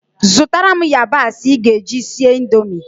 Zụtara m yabasị ị ga-eji sie Indomie